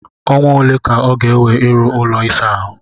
Ọnwa ole ka ọ ga-ewe ịrụ ụlọ ịsa ahụ?